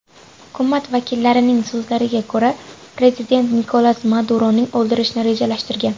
Hukumat vakillarining so‘zlariga ko‘ra, prezident Nikolas Maduroni o‘ldirishni rejalashtirgan.